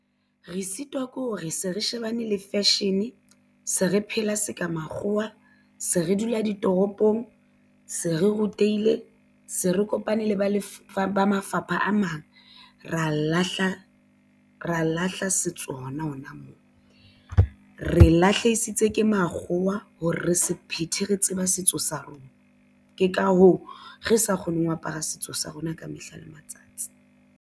Re sitwa ke hore se re shebane le fashion se re phela se ka makgowa se re dula ditoropong se re rutehile se re kopane le ba mafapha a mang ra lahla setso hona hona moo re lahlehetswe ke makgowa hore re sephethe re tseba setso sa rona. Ke ka hoo re sa kgoneng ho apara setso sa rona ka mehla le matsatsi.